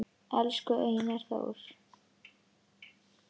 Elsku Einar Þór